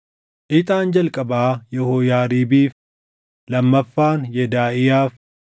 Ixaan jalqabaa Yehooyaariibiif, lammaffaan Yedaaʼiyaaf,